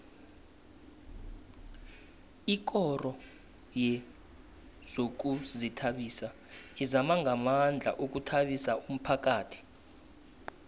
ikoro yezokuzithabisa izama ngamandla ukuthabisa umphakhathi